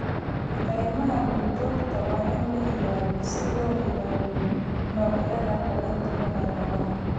Kaymaha duurjoogta waa in la ilaaliyo si loo ilaaliyo noocyada kala duwan ee noolaha.